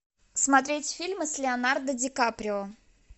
смотреть фильмы с леонардо ди каприо